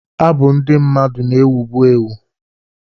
Abụ ndị mmadụ na-ewu bụ ewu.